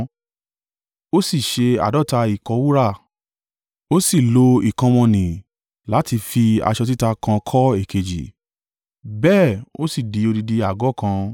Ó sì ṣe àádọ́ta ìkọ́ wúrà, ó sì lò ìkọ́ wọ̀n-ọn-nì láti fi aṣọ títa kan kọ́ èkejì, bẹ́ẹ̀ ó sì di odidi àgọ́ kan.